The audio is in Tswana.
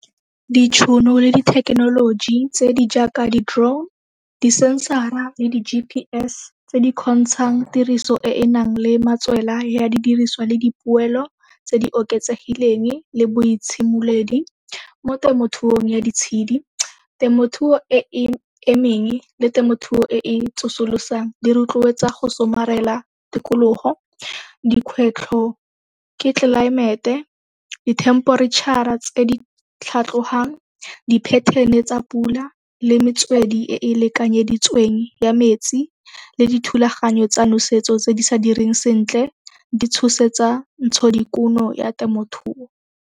Ditšhono le dithekenoloji tse di jaaka di-drone, di-sensor-ra le di-G_P_S tse di kgontshang tiriso e e nang le matswela ya di diriswa le dipoelo tse di oketsegileng le boitshimoledi mo temothuong ya ditshedi. Temothuo e e emeng le temothuo e e tsosolosang di rotloetsa go somarela tikologo. Dikgwetlho ke tlelaemete, di-temperature-ra tse di tlhatlohang di-pattern-e tsa pula le metswedi e e lekanyeditsweng ya metsi le dithulaganyo tsa nosetso tse di sa direng sentle di tshosetsa ntshodikuno ya temothuo.